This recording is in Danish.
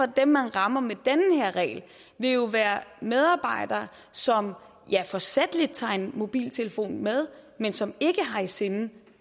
dem man rammer med den her regel vil jo være medarbejdere som ja forsætligt tager en mobiltelefon med men som ikke har i sinde